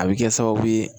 A bɛ kɛ sababu ye